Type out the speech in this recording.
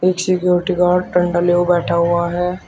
एक security guard डंडा लिए हुए बैठा हुआ है।